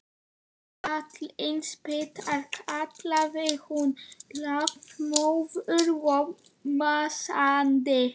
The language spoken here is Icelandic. Fallin spýta! kallaði hún lafmóð og másandi.